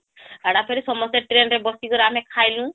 ହେଟା ଫେର ସମସ୍ତେtrain ରେ ବସିକରି ଆମେ ଖାଇଲୁ